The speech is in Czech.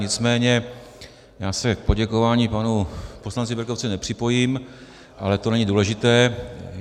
Nicméně já se k poděkování panu poslanci Berkovcovi nepřipojím, ale to není důležité.